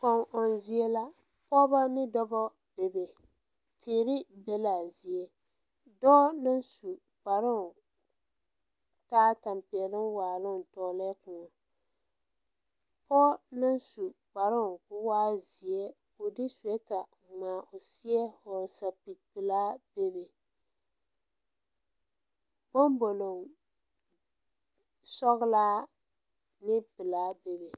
Kɔŋ ɔŋ zie la pɔɔbɔ ne dobɔ bebe teere be laa zie dɔɔ naŋ su kparoo taa tampɛloŋ waaloŋ tɔglɛɛ kõɔ pɔɔ naŋ su kparoo koo waa zeɛ ko de suwɛɛta ngmaa o seɛ hɔɔle sɛpige pelaa bebe boŋboloŋ sɔglaa ne pelaa bebe.